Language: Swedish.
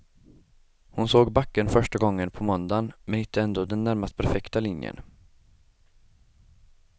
Hon såg backen för första gången på måndagen men hittade ändå den närmast perfekta linjen.